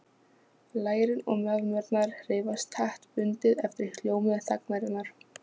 Lærin og mjaðmirnar hreyfast taktbundið eftir hljómi þagnarinnar.